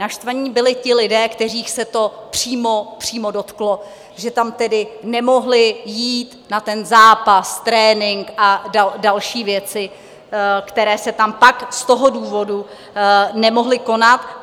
Naštvaní byli ti lidé, kterých se to přímo dotklo, že tam tedy nemohli jít na ten zápas, trénink a další věci, které se tam pak z toho důvodu nemohly konat.